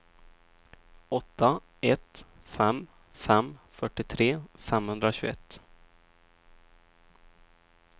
åtta ett fem fem fyrtiotre femhundratjugoett